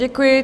Děkuji.